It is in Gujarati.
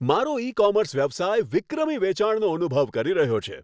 મારો ઈ કોમર્સ વ્યવસાય વિક્રમી વેચાણનો અનુભવ કરી રહ્યો છે.